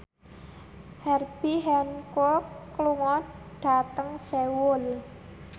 Herbie Hancock lunga dhateng Seoul